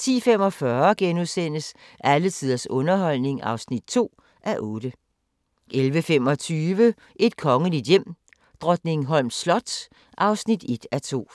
10:45: Alle tiders underholdning (2:8)* 11:25: Et kongeligt hjem: Drottningholms slot (1:2)